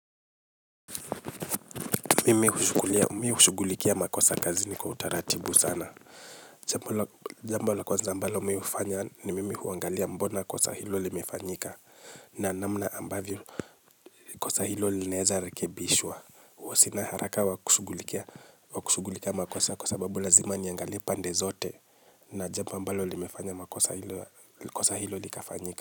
Mimi ushugulikia makosa kazini kwa utaratibu sana. Jambo la kwanza ambalo mi ufanya ni kuangalia ni kwa nini makuisa hio imefanyika. Na namna ambavyo kosa hilo lineeza rekebishwa. Huo sina haraka wa kushugulikia makosa kwa sababu lazima niangalia pande zote. Na jambo ambalo li mefanya makosa hilo li kafanyika.